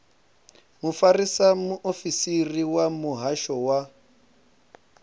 mufarisa muofisiri wa muhasho wa